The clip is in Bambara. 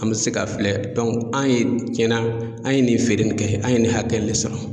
An bɛ se ka filɛ an ye tiɲɛna an ye nin feere nin kɛ, an ye nin hakɛ in de sɔrɔ.